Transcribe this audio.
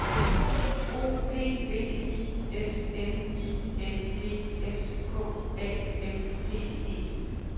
O P V I S N I N G S K A M P E